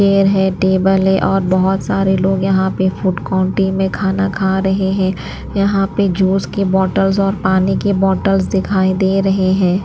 Chair है table है और बहुत सारे लोग यहाँ पे फूड क्वांटी में खाना खा रहे हैं यहाँ पे जूस के बॉटल्स और पानी की बॉटल्स दिखाई दे रहे हैं।